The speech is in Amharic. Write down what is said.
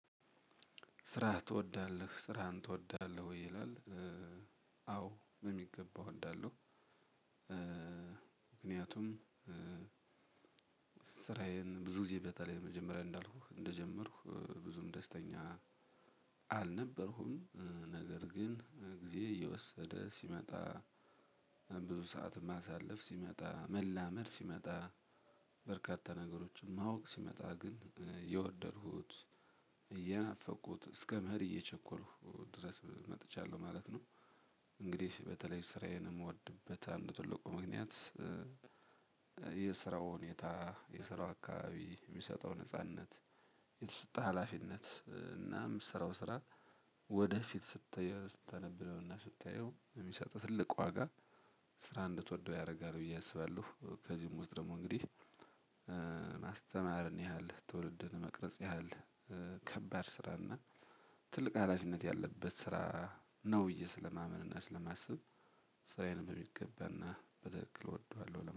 ስራ ትወዳለህ ስራህን ትወዳለህ ወይ ይላል አወ በሚገባ እወዳለው። ምክንያቱም ስራየን ብዙ ግዜ በተለይ መጀመሪያ እንዳልኩህ እንደጀምርኩ ብዙም ደስተኛ አልነበርኩም ነገር ግን ግዜ እየወሰደ ሲመጣ ብዙ ሰዓት ማሳለፍ ሲመጣ መላመድ ሲመጣ በርካታ ነገሮችን ማወቅ ሲመጣ ግን እየወደድኩት እያናፈቁት እስከ መሄድ እየቸኮልኩ ድረስ መጥቻለሁ ማለት ነው። እንግዲህ በተለይ ስራዬን የምወድበት አንድ ትልቁ ምክንያት የስራው ሁኔታ የስራው አካባቢ የሚሰጠው ነጻነት። የተሰጠ ሀላፊነት እና ምሰራው ስራ ወደ ፊትስታየው ሚሰጥህ ትልቁ ዋጋ ስራ እንድትወደው ያደርጋል ብዬ አስባለሁ። ከዚህም ውስጥ ደሞ እንግዲህ ማስተማርን ያህል ትውልድን መቅረጽ ያህል ከባድ ስራ እና ትልቅ ሀላፊነት ያለበት ስራ ነው ብየ ሰለማምንና ስለማስብ ስራዬን በሚገባና በትክክል እወደዋለሁ